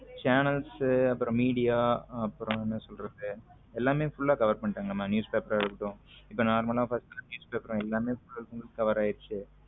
Channels அப்புறம் media அப்புறம் என்ன சொல்றது எல்லாம full cover பண்ணிட்டாங்கமா news paper ஆ இருக்கட்டும் normal ஆ பாத்தீங்கன்னா news paper எல்லாம full and full cover ஆயிடுச்சு.